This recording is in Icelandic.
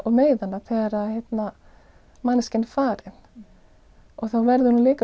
og meiða hana þegar manneskjan er farin og þá verður hún líka